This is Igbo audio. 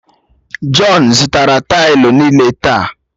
Jọn zụtara taịlu niile taa